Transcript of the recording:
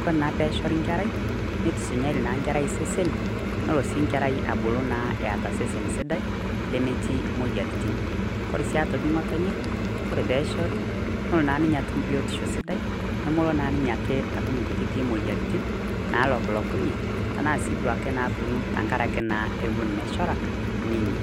kore naa pee eshori nkerai neitusunyari naa nkerai e sesen nelo sii nkerai abulu eeta sesen sidai lemetii moyiaritin. Kore sii aitoki ng`otonye kore pee eshori nolo naa ninye atum biotisho sidai nemolo naa ninye atum nkutitik moyiaritin naalokunyekunye tena sii duo ake naaponu tenkaraki naa ewuon meshora ninye.